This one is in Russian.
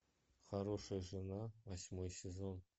хорошая жена восьмой сезон